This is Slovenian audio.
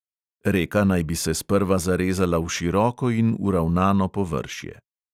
Reka naj bi se sprva zarezala v široko in uravnano površje.